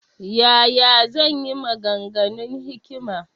Ya ya zan yi maganganun hikima?